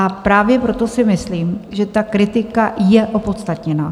A právě proto si myslím, že ta kritika je opodstatněná.